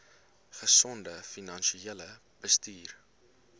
gesonde finansiële bestuur